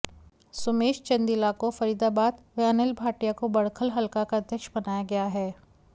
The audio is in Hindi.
सुमेश चंदीला को फरीदाबाद व अनिल भाटिया को बडख़ल हलका का अध्यक्ष बनाया गया है